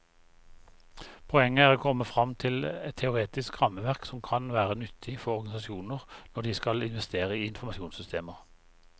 Poenget er å komme frem til et teoretisk rammeverk som kan være nyttig for organisasjoner når de skal investere i informasjonssystemer.